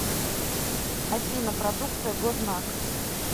афина продукция гознак